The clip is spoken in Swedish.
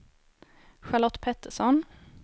Charlotte Pettersson